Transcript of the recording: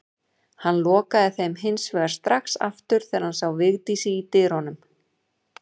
Hann lokaði þeim hins vegar strax aftur þegar hann sá Vigdísi í dyrunum.